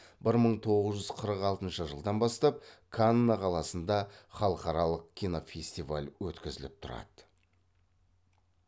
бір мың тоғыз жүз қырық алтыншы жылдан бастап канны қаласында халықараралық кинофестиваль өткізіліп тұрады